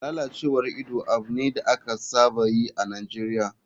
Lalacewar ido abu ne da aka saba yi a nigeria.